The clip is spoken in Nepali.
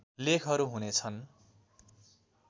लेखहरू हुनेछन्